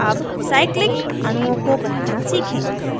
अब cyclic cyclic अणुओं को बनाना सीखें